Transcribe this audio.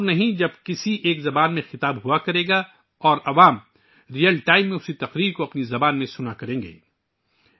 وہ دن دور نہیں جب ایک ہی زبان میں خطاب ہوگا اور عوام وہی تقریر بیک وقت اپنی زبان میں سنا کریں گے